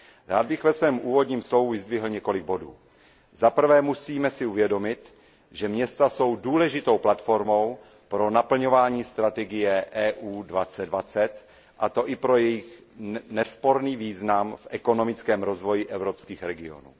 Rád bych ve svém úvodním slovu vyzdvihl několik bodů. Za prvé, musíme si uvědomit, že města jsou důležitou platformou pro naplňování strategie EU 2020, a to i pro jejich nesporný význam v ekonomickém rozvoji evropských regionů.